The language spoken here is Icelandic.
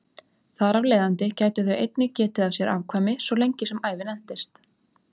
Þar af leiðandi gætu þau einnig getið af sér afkvæmi svo lengi sem ævin entist.